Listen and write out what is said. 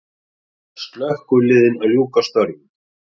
Slökkviliðin að ljúka störfum